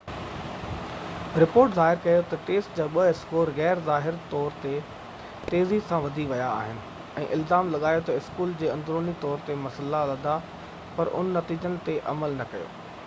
report ظاهر ڪيو تہ ٽيسٽ جا اسڪور غير ظاهر طور تي تيزي سان وڌي ويا آهن ۽ الزام لڳايو تہ اسڪول کي اندروني طور تي مسئلا لڌا پر ان نتيجن تي عمل نہ ڪيو